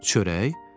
Çörək?